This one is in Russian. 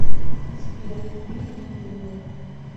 сбер купи мне пуму